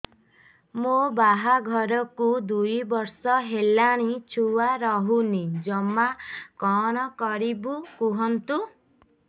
ମୋ ବାହାଘରକୁ ଦୁଇ ବର୍ଷ ହେଲାଣି ଛୁଆ ରହୁନି ଜମା କଣ କରିବୁ କୁହନ୍ତୁ